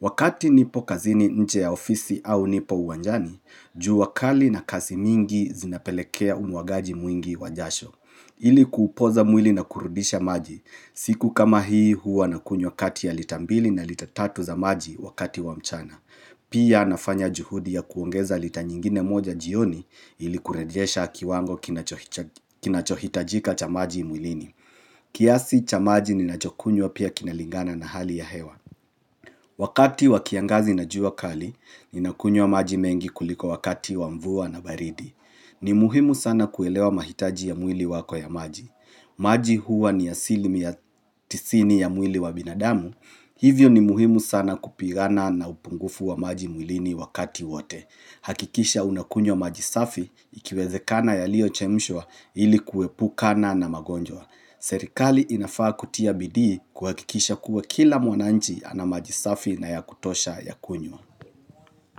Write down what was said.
Wakati nipo kazini nje ya ofisi au nipo uwanjani, juu kali na kasi mingi zinapelekea umuagaji mwingi wa jasho. Ili kuupoza mwili na kurudisha maji, siku kama hii huwa na kunywa kati ya lita mbili na lita tatu za maji wakati wa mchana. Pia nafanya juhudi ya kuongeza lita nyingine moja jioni ili kurejesha kiwango kinachohitajika cha maji mwilini. Kiasi cha maji ninachokunywa pia kinalingana na hali ya hewa. Wakati wakiangazi na jua kali, ninakunywa maji mengi kuliko wakati wa mvua na baridi. Ni muhimu sana kuelewa mahitaji ya mwili wako ya maji. Maji huwa ni ya asilimia ya tisini ya mwili wa binadamu. Hivyo ni muhimu sana kupigana na upungufu wa maji mwilini wakati wote. Hakikisha unakunywa maji safi ikiwezekana yaliochemshwa ili kuwepukana na magonjwa Serikali inafaa kutia bidii kuhakikisha kuwa kila mwananchi ana maji safi na ya kutosha ya kunywa.